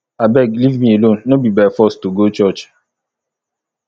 abeg leave me alone no be by force to go church